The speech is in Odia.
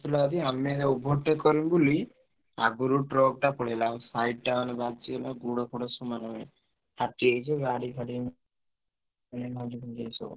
ଆସୁଥିଲା ଯଦି ଆମେ ତାକୁ overtake କରିବୁ ବୋଲି ଆଗୁରୁ truck ଟା ପଳେଇଲା। side ଟା ମାନେ ବାଜିଗଲା ଗୋଡ ଫୋଡ ସବୁ ମାଡ଼ ହେଇଗଲା ଫାଟି ଯାଇଛି ଗାଡି ଫାଡି ସବୁ।